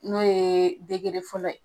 N'o ye fɔlɔ ye